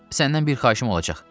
Səndən bir xahişim olacaq.